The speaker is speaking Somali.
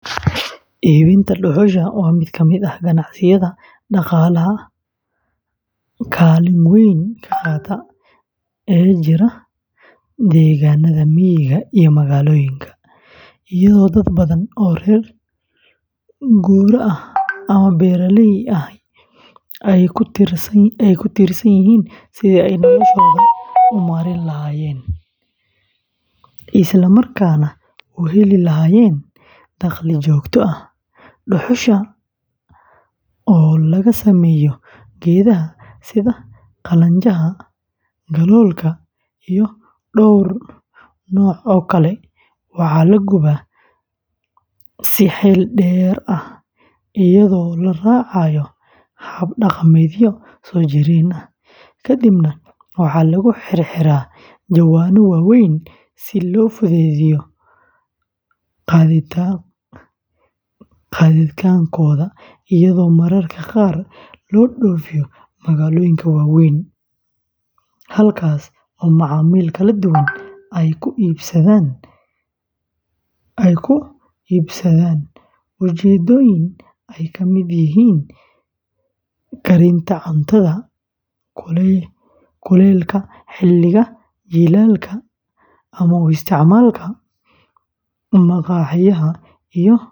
Iibinta dhuxusha waa mid ka mid ah ganacsiyada dhaqaalaha kaalin weyn ka qaata ee ka jira deegaanada miyiga iyo magaalooyinka, iyadoo dad badan oo reer guuraa ah ama beeraley ahi ay ku tiirsan yihiin sidii ay noloshooda u maareyn lahaayeen, isla markaana u heli lahaayeen dakhli joogto ah; dhuxusha oo laga sameeyo geedaha sida qalanjaha, galoolka, iyo dhowr nooc oo kale, waxaa la gubaa si xeel dheer ah iyadoo la raacayo hab dhaqameedyo soo jireen ah, kadibna waxaa lagu xirxiraa jawaano waaweyn si loo fududeeyo gaadiidkeeda, iyadoo mararka qaar loo dhoofiyo magaalooyinka waaweyn, halkaas oo macaamiil kala duwan ay ku iibsadaan ujeeddooyin ay ka mid yihiin karinta cuntada, kuleylka xilliga jiilaalka, ama u isticmaalka maqaaxiyaha.